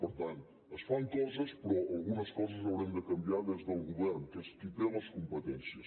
per tant es fan coses però algunes coses haurem de canviar des del govern que és qui té les competències